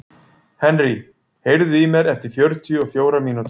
Henry, heyrðu í mér eftir fjörutíu og fjórar mínútur.